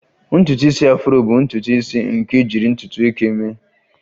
Ntutu isi Afro bụ ntutu isi nke ejiri ntutu eke mee